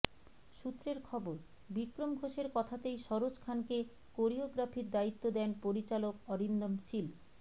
সূত্রের খবর বিক্রম ঘোষের কথাতেই সরোজ খানকে কোরিওগ্রাফির দায়িত্ব দেন পরিচালক অরিন্দম শীল